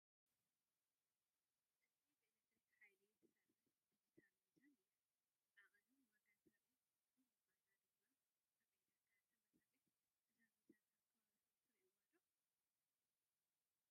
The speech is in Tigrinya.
እዚ ብኤለክትሪክ ሓይሊ ትሰርሕ ዲጂታል ሚዛን እያ፡፡ ዓቐንን ዋጋን ተርኢ ብምዃና ድማ ኣብ ዕዳጋ ተመራፂት እያ፡፡ እዛ ሚዛን ኣብ ከባቢኹም ትርእይዋ ዶ?